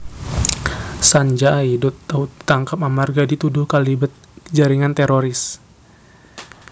Sanjay Dutt tau ditangkap amarga dituduh kalibet jaringan teroris